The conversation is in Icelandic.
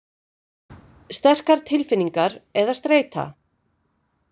Sterkar tilfinningar eða streita.